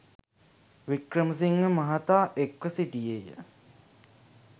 වික්‍රමසිංහ මහතා එක්ව සිටියේය